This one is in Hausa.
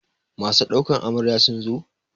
Masu ɗaukar Amarya sun zo?